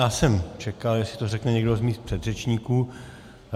Já jsem čekal, jestli to řekne někdo z mých předřečníků.